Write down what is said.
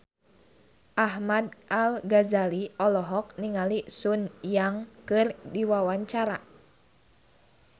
Ahmad Al-Ghazali olohok ningali Sun Yang keur diwawancara